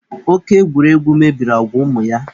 Oke egwuregwu mebiri agwa ụmụ ya.